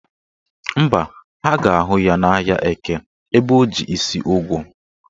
Mba, ha ga-ahụ ya n'ahịa Eke ebe o ji isi ugu